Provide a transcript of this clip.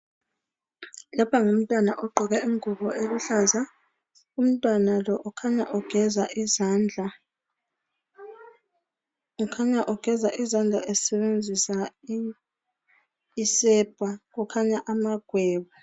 Lapha ngumntwana ogqoke ingubo eluhlaza umntwana lo kukhanya egeza izandla esebenzisa isepa kukhanya amagwebu.